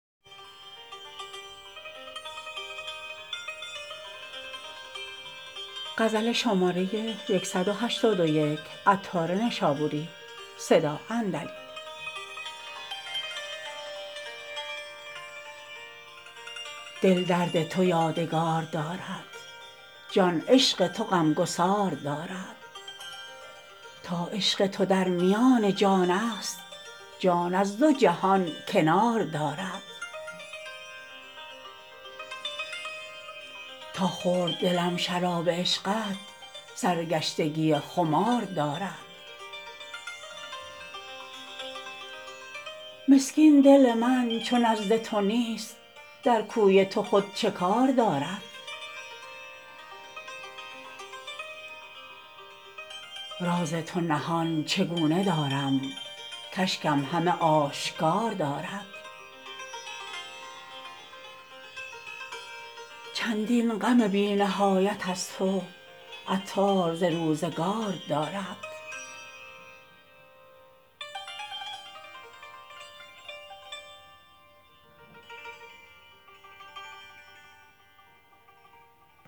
دل درد تو یادگار دارد جان عشق تو غمگسار دارد تا عشق تو در میان جان است جان از دو جهان کنار دارد تا خورد دلم شراب عشقت سرگشتگی خمار دارد مسکین دل من چو نزد تو نیست در کوی تو خود چکار دارد راز تو نهان چگونه دارم کاشکم همه آشکار دارد چندین غم بی نهایت از تو عطار ز روزگار دارد